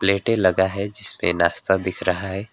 प्लेटें लगा है जिस पे नाश्ता दिख रहा है।